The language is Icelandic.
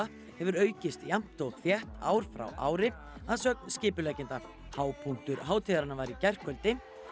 hefur aukist jafn og þétt ár frá ári að sögn skipuleggjenda hápunktur hátíðarinnar var í gærkvöldi